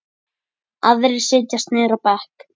Aðrir setjast niður á bekk.